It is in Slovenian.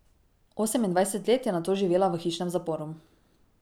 Osemindvajset let je nato živela v hišnem zaporu.